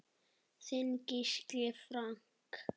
Þinn Gísli Frank.